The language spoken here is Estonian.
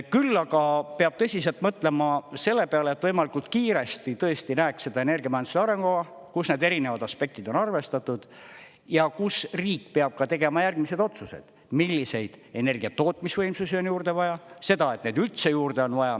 Küll aga peab tõsiselt mõtlema selle peale, et võimalikult kiiresti tõesti näeks seda energiamajanduse arengukava, kus need erinevad aspektid on arvestatud ja kus riik peab ka tegema järgmised otsused: milliseid energiatootmisvõimsusi on juurde vaja; seda, et neid üldse juurde on vaja.